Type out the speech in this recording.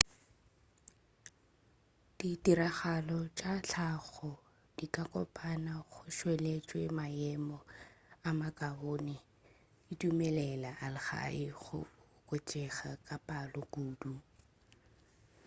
ditiragalo tša tlhago di ka kopana go tšweletša maemo a makaone di dumelela algae go oketšega ka palo kudu